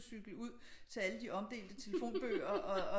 Cykle ud til alle de omdelte telefonbøger og